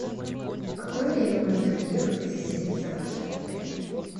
в какое время можно приехать и заселиться в ваш отель